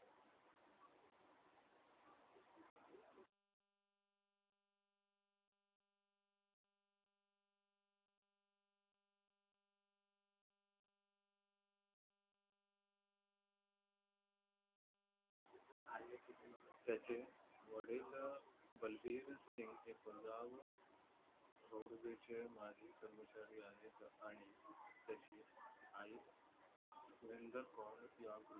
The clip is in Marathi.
त्याचे वडील अह बलबीर सिंग हे पंजाब Roadways चे माजी कर्मचारी आहेत आणि त्याची आई सुरेंदर कौर या